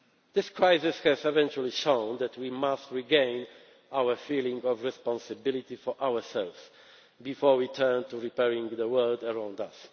problems. This crisis has eventually shown that we must regain our feeling of responsibility for ourselves before we turn to repairing the world